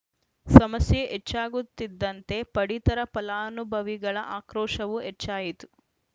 ಸಮಸ್ಯೆ ಹೆಚ್ಚಾಗುತ್ತಿದ್ದಂತೆ ಪಡಿತರ ಫಲಾನುಭವಿಗಳ ಆಕ್ರೋಶವೂ ಹೆಚ್ಚಾಯಿತು